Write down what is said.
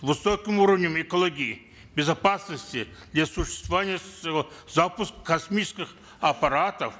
высоким уровнем экологии безопасности для существования своего запуска космических аппаратов